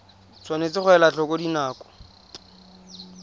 tshwanetse ga elwa tlhoko dinako